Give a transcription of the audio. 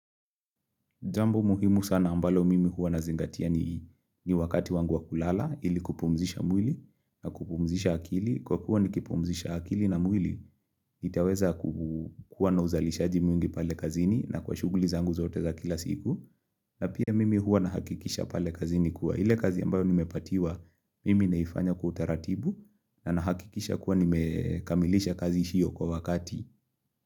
Jambo muhimu sana ambalo mimi huwa nazingatia ni wakati wangu wa kulala, ili kupumzisha mwili na kupumzisha akili. Kwa kuwa nikipumzisha akili na mwili, nitaweza kuwa na uzalishaji mwingi pale kazini na kwa shughuli zangu zote za kila siku. Na pia mimi huwa nahakikisha pale kazini kuwa. Ile kazi ambayo nimepatiwa, mimi naifanya kutaratibu na nahakikisha kuwa nimekamilisha kazi hio kwa wakati.